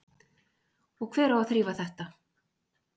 Og hver á að þrífa þetta?